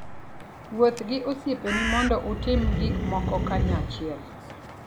Wuoth gi osiepeni mondo utim gik moko kanyachiel.